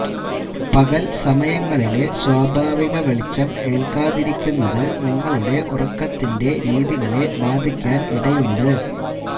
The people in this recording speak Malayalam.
പകൽ സമയങ്ങളിലെ സ്വാഭാവിക വെളിച്ചം ഏൽക്കാതിരിക്കുന്നത് നിങ്ങളുടെ ഉറക്കത്തിന്റെ രീതികളെ ബാധിക്കൻ ഇടയുണ്ട്